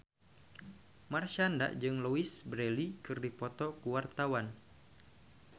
Marshanda jeung Louise Brealey keur dipoto ku wartawan